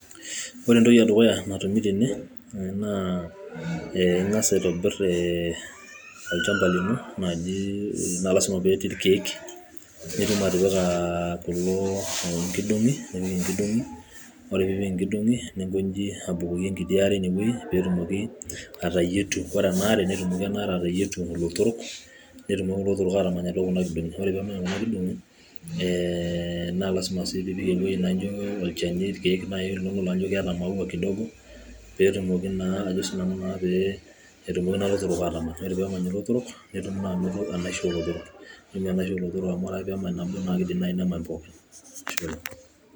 Ore entoki edukuya naa igas aitobir ee, Olchamba lino naa lazima pee etii ilkeek, nitum atipika inkidongi, ore pee ipik inkidongi nipik abukoki enkiti are ineweji, pee etumoki ena are ateyietu, ilotorok netumoki ilotorok atamany kuna kidong'i. naa lazima sii pee ipik olchani ikeek niyiolo ajo keeta imaua kidogo peetumoki naa ajo naa sii nanu ilotorok aatamany. Ore pee emany ilotorok, netumi naa anono enaishi oo lotorok, amu tenemany nabo naa keidim atamany pooki. ashe oleng.